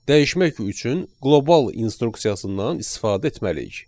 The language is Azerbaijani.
Dəyişmək üçün qlobal instruksiyasından istifadə etməliyik.